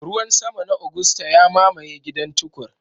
Ruwan sama na Agusta ya mamaye gidan Tukur.